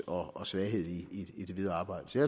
og svaghed i det videre arbejde så